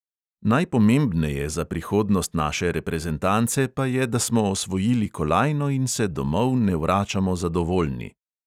Najpomebneje za prihodnost naše reprezentance pa je, da smo osvojili kolajno in se domov ne vračamo zadovoljni.